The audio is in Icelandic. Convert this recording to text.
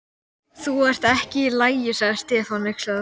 Þú ert ekki í lagi. sagði Stefán hneykslaður.